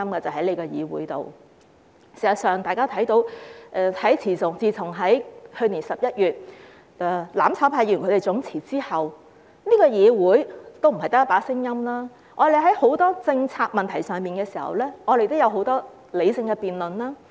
事實上，大家看到，自從去年11月"攬炒派"議員總辭後，這個議會也不是只有一把聲音，我們在很多政策問題上，也有很多理性的辯論。